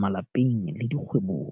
malapeng le dikgwebong.